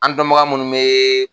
An dɔnbaga minnu bɛ